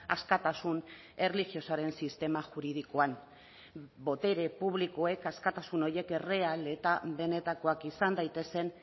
askatasun erlijiosoaren sistema juridikoan botere publikoek askatasun horiek erreal eta benetakoak izan daitezen